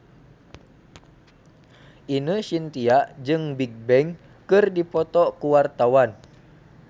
Ine Shintya jeung Bigbang keur dipoto ku wartawan